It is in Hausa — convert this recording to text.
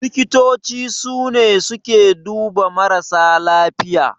Likitoci sune suke duba marasa lafiya.